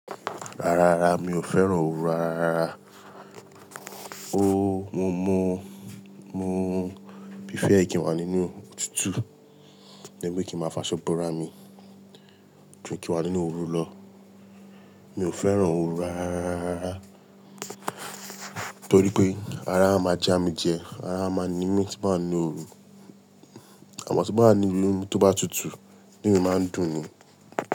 Rárá mi ò fẹ́ràn oru aráárá, ó mo mo mo prefer kí n wà nínú otútù, lẹ́bí kí ń máa fa ṣọ́bọ̀ rá mi ju kí n wà nínú òru lọ. Mi ò fẹ́ràn oru aráárá torí pé ara máa já mi jẹ, ara máa ní mí tí n ba wa ninu òru àmọ́ tí mo bá ní ilẹ̀ tó bá tutù inu mí máa ń dùn ni.